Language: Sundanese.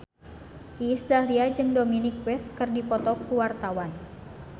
Iis Dahlia jeung Dominic West keur dipoto ku wartawan